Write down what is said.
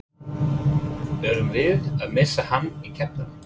Erum við að missa hann í keppnina?